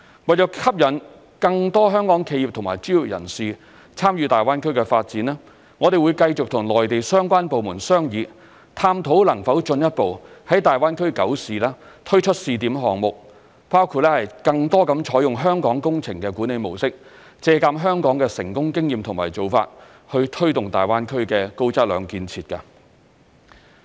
為吸引更多香港企業和專業人士參與大灣區發展，我們會繼續與內地相關部門商議，探討能否進一步在大灣區九市推出試點項目，包括更多採用香港工程管理模式，借鑒香港的成功經驗和做法，推動大灣區的高質量建設。